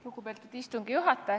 Lugupeetud istungi juhataja!